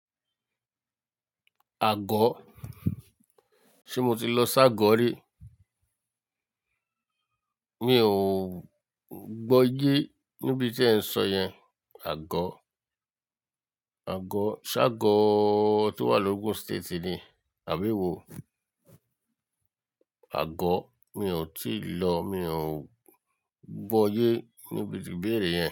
Àgọ́? Ṣé mo ti lọ Ságọ́ rí? Mi ò gbọ́ ye níbi tí ẹ ń sọ yẹn. Àgọ́, Àgọ́, ṣá Ságọ́ tí ó wà ní Ogun State ni? Àbí ewo? Àgọ́, mi ò tíì lọ, mi ò gbọ́ ye níbi tí ìbéèrè yẹn.